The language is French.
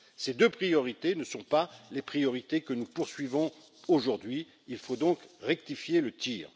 Ces deux priorités ne sont pas les priorités que nous poursuivons aujourd'hui, il faut donc rectifier le tir.